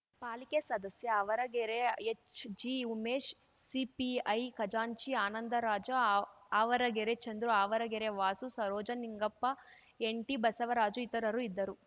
ಪಾಲಿಕೆ ಸದಸ್ಯ ಆವರಗೆರೆ ಎಚ್‌ಜಿಉಮೇಶ್‌ ಸಿಪಿಐ ಖಜಾಂಚಿ ಆನಂದರಾಜ ಆವ್ ಆವರಗೆರೆ ಚಂದ್ರು ಆವರಗೆರೆ ವಾಸು ಸರೋಜ ನಿಂಗಪ್ಪ ಎನ್‌ಟಿಬಸವರಾಜು ಇತರರು ಇದ್ದರು